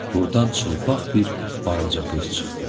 Buradan çılpaq bir balaca qız çıxdı.